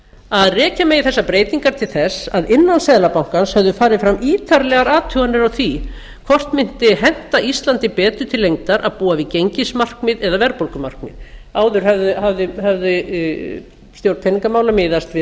að rekja megi þessar breytingar til þess að innan seðlabankans höfðu farið fram ítarlegar athuganir á því hvort mundi henta íslandi betur til lengdar að búa við gengismarkmið eða verðbólgumarkmið áður hafði stjórn peningamála miðast við